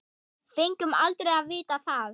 Fengum aldrei að vita það.